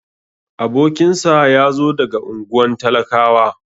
Abokinsa yazo daga unguwan talakawa.